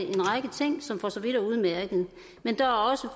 en række ting som for så vidt er udmærkede men der er også